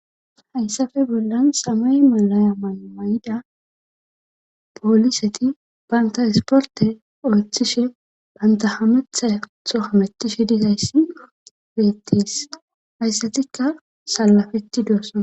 hayssafe bollan samey molaya man may7ida pooliseti banta esporte ooththishe banta hametha etho hamettishe dizayssi beettis hayssatikka salafeti doosana